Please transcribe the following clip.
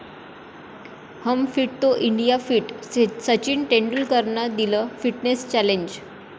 हम fit तो India fit, Sachin तेंडुलकरनं दिलं फिटनेस चॅलेंज